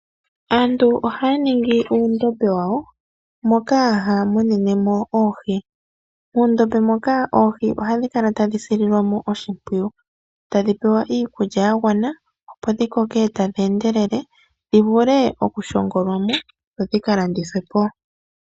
Aantu ohaya ningi uundombe wawo mono haya munine mo oohi muundombe moka oohi ohadhi kala tadhi sililwa mo oshipwiyu tadhi pewa iikulya yagwana opo dhikoke tadhi endelele dhivule okushongolwa mo dho dhika landithwe po.